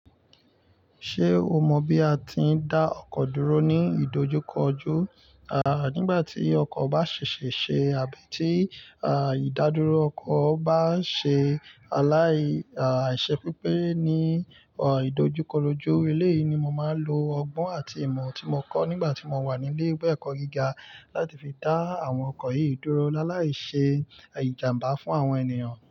Ṣé o mọ bí a ti ń dá ọkọ dúró ní ìdojúkọjú? À, nígbà tí ọkọ̀ bá ṣèṣe ṣe àbí tí, à, ìdádúró ọkọ̀ bá ń ṣe aláì, à, ìṣe pípé ní, ọ, ìdojúkorojú. Eléyìí ni mo máa ń lo ọgbọ́n àti ìmọ̀ tí mo kọ́ nígbà tí mo wà ní ilé ìwé ẹ̀kọ́ gíga láti fi dá àwọn ọkọ̀ yìí dúró láàláì ṣe ìjàmbá fún àwọn ènìyàn.